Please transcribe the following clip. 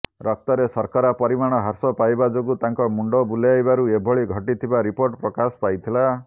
ରକ୍ତରେ ଶର୍କରା ପରିମାଣ ହ୍ରାସ ପାଇବା ଯୋଗୁଁ ତାଙ୍କ ମୁଣ୍ଡ ବୁଲାଇବାରୁ ଏଭଳି ଘଟିଥିବା ରିପୋର୍ଟ ପ୍ରକାଶ ପାଇଥିଲା